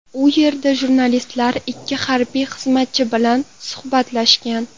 U yerda jurnalistlar ikki harbiy xizmatchi bilan suhbatlashgan.